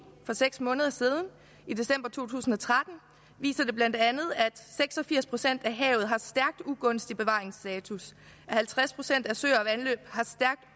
for seks måneder siden i december to tusind og tretten viser bla at seks og firs procent af havet har stærkt ugunstig bevaringsstatus at halvtreds procent af søer og vandløb har stærkt